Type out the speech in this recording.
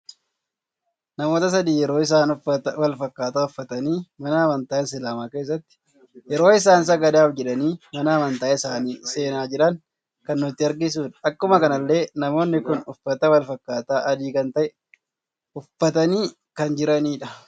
Namoota sadii yeroo isaan uffata wal fakkata uffatani mana amantaa Isilaama keessatti yeroo isaan sagadaaf jedhani mana amantaa isaanii seena jiran kan nutti agarsiisudha. Akkuma kanallee namoonni kun uffata wal fakkata adii kan ta'e uffatani kan jiranidha.